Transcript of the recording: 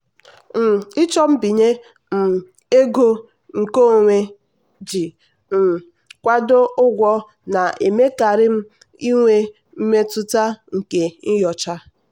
um ịchọ mbinye um ego nkeonwe iji um kwado ụgwọ na-emekarị ka m nwee mmetụta nke nyocha.